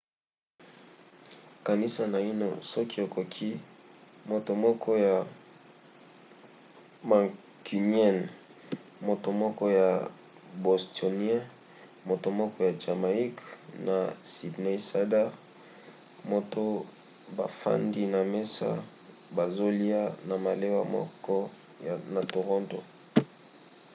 kanisa naino soki okoki moto moko ya mancunien moto moko ya bostonien moto moko ya jamaïque na sydneysider moko bafandi na mesa bazolya na malewa moko na toronto